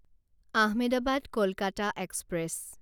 Ahmedabad Kolkata express